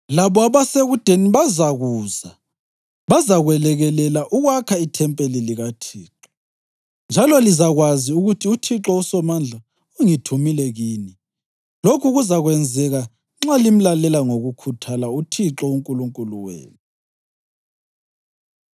Labo abasekudeni bazakuza bazakwelekelela ukwakha ithempeli likaThixo njalo lizakwazi ukuthi uthixo uSomandla ungithumile kini. Lokhu kuzakwenzeka nxa limlalela ngokukhuthala uThixo uNkulunkulu wenu.”